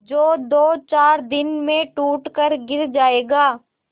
जो दोचार दिन में टूट कर गिर जाएगा